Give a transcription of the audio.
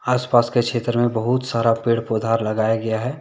आस पास के क्षेत्र में बहुत सारा पेड़ पौधा लगाया गया है।